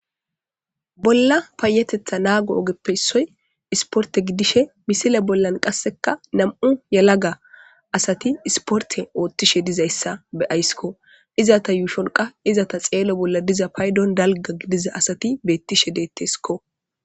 Bolla payatetha naago ogeppe issoy sporte gidishe misile bollan qase nam'u yelaga asati sporte oothishe dizaysa be'aysko, izeta yushon qas izeta xello bolla de'iza paydon dalga gidiza asati betishe detesko